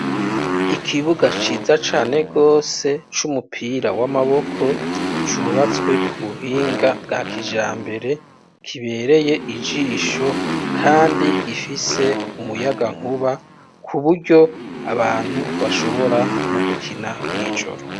Ikibuga ciza cane rwose, c'umupira w'amaboko, cubatswe ku buhinga bwa kijambere, kibereye ijisho, kandi gifise umuyagankuba, ku buryo, abantu bashobora no gukina mw'ijoro.